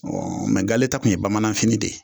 Ɔɔ mɛ gale ta kun ye bamanafini de ye